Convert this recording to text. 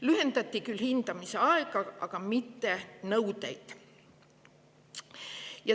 Lühendati küll hindamisaega, aga mitte nõudeid.